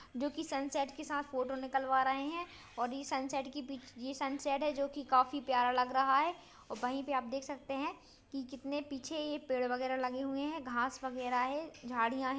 जो की सनसेट के साथ फोटो निकलवा रहे हैं और ये सनसेट की पि ये सनसेट है जोकि काफी प्यारा लग रहा है और वहीं पे आप देख सकते हैं कि कितने पीछे ये पेड़ वगैर लगे हुए हैं घास वगैरा है झाडिया है।